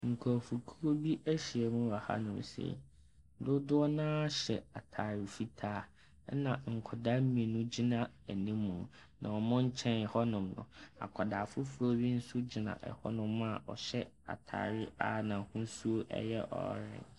Nkurɔfokuo bi ahyia mu wɔ hɔ hanom sei, dodoɔ no ara hyɛ ntaade fitaa na nkwadaa mmienu gyina anim. Na wɔn nkyɛn hɔnom no, akwadaa fofor bi nso gyina hɔnom a ɔhyɛ ataare a n’ahosuo no ɛyɛ orange.